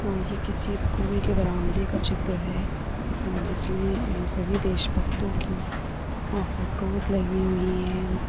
और ये किसी स्कूल के बरामदे का चित्र है अह जिसमें सभी देशभक्तों की अह फोटोज लगी हुई हैं।